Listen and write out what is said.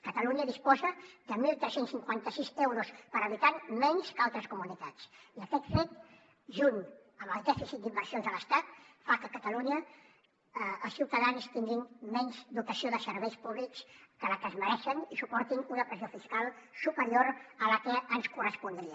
catalunya disposa de tretze cinquanta sis euros per habitant menys que altres comunitats i aquest fet junt amb el dèficit d’inversions de l’estat fa que a catalunya els ciutadans tinguin menys dotació de serveis públics que la que es mereixen i suportin una pressió fiscal superior a la que ens correspondria